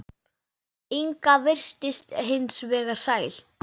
Inga virtist hins vegar sæl.